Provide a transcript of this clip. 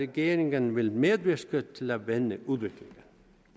regeringen vil medvirke til at vende udviklingen